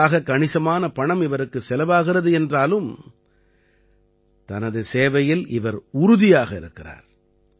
இதற்காக கணிசமான பணம் இவருக்குச் செலவாகிறது என்றாலும் தனது சேவையில் இவர் உறுதியாக இருக்கிறார்